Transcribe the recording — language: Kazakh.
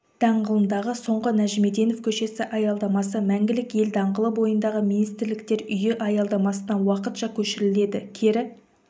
даңғылындағы соңғы нәжімеденов көшесі аялдамасы мәңгілік ел даңғылы бойындағы министрліктер үйі аялдамасына уақытша көшіріледі кері